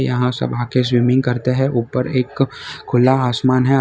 यहां सब आके स्विमिंग करते हैं ऊपर एक खुला आसमान है।